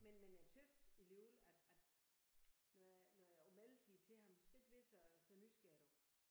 Men men jeg tys alligevel at at når jeg når jeg imellem siger til ham skal ikke være så så nysgerrig du